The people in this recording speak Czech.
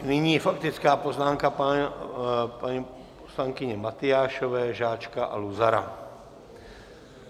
Nyní faktická poznámka paní poslankyně Matyášové, Žáčka a Luzara.